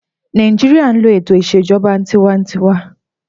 Nàìjíríyà n lo ètò ìṣèjọba tinwatinwa